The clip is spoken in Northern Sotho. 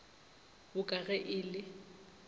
bo ka ge e le